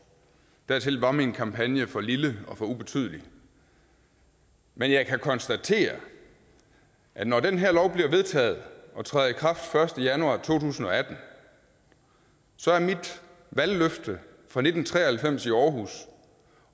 dertil var min kampagne for lille og for ubetydelig men jeg kan konstatere at når den her lov bliver vedtaget og træder i kraft den første januar to tusind og atten så er mit valgløfte fra nitten tre og halvfems i aarhus